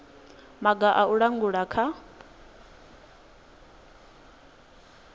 maga a u langula kha